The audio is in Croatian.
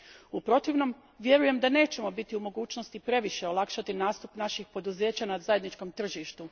U protivnom ne vjerujem da ćemo biti u mogućnosti previše olakšati nastup naših poduzeća na zajedničkom tržištu.